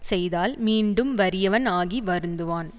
செய்தால் மீண்டும் வறியவன் ஆகி வருந்துவான்